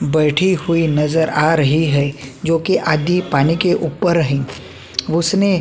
बैठी हुई नजर आ रही है जो की आद्धि पानी के ऊपर हए उसने --